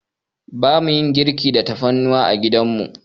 Bamu yin girki da tafarnuwa a gidan mu.